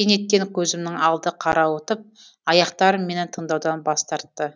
кенеттен көзімнің алды қарауытып аяқтарым мені тыңдаудан бас тартты